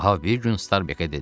Ahab bir gün Starbekə dedi: